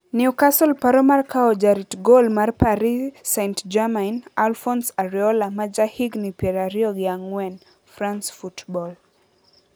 Newcastle paro mar kawo jarit gol mar Paris Saint-Germain Alphonce Areola ma ja higni pier ariyo gi ang`wen (France Football).